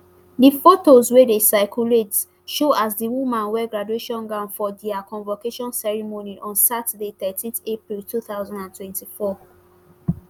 di photos wey dey circulate show as di woman wear graduation gown for dia convocation ceremony on saturday thirteen april two thousand and twenty-four